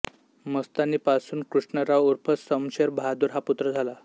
मस्तानीपासून कृष्णराव उर्फ समशेर बहादुर हा पुत्र झाला